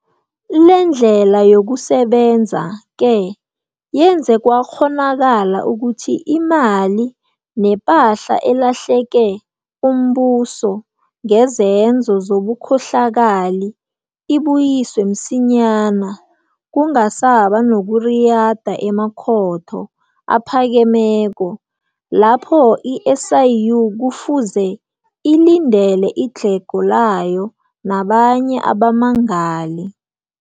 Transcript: Lendlela yokusebenza-ke yenze kwakghonakala ukuthi imali nepahla elahlekele umbuso ngezenzo zobukhohlakali ibuyiswe msinyana, kungasaba nokuriyada emakhotho aphakemeko lapho i-SIU kufuze ilindele idlhego layo nabanye abammangali.